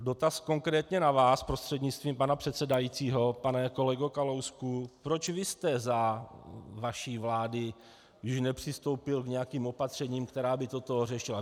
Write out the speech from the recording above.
Dotaz konkrétně na vás prostřednictvím pana předsedajícího, pane kolego Kalousku, proč vy jste za vaší vlády již nepřistoupil k nějakým opatřením, která by toto řešila.